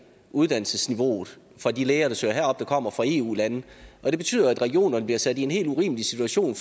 uddannelsesniveauet for de læger der søger herop kommer fra eu lande og det betyder jo at regionerne bliver sat en helt urimelig situation